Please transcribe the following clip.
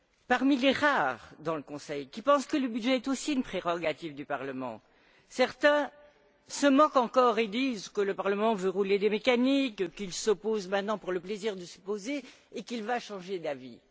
Parmi les rares membres du Conseil qui pensent que le budget est aussi une prérogative du Parlement, certains se moquent encore et disent que le Parlement veut rouler des mécaniques, qu'il s'oppose maintenant pour le plaisir de s'opposer et qu'il va changer d'avis.